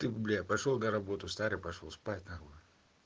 ты бля пошёл на работу старый пошёл спать нахуй